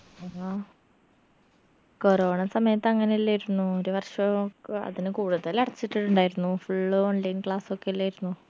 ആ corona സമയത്ത് അങ്ങനെല്ലേർന്നോ ഒരു വർഷം അതില് കൂടുതൽ അടച്ചിട്ടിണ്ടായിരുന്നു full online class ഒക്കെ എല്ലേർന്നോ